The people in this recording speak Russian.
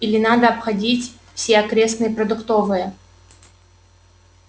или надо обходить все окрестные продуктовые